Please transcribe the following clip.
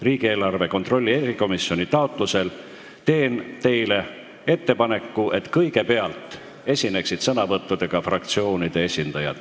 Riigieelarve kontrolli erikomisjoni taotlusel teen teile ettepaneku, et kõigepealt võtaksid sõna fraktsioonide esindajad.